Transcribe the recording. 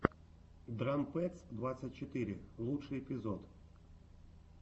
драм пэдс двадцать четыре лучший эпизод